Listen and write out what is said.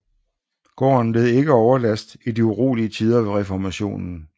Gården led ikke overlast i de urolige tider ved Reformationen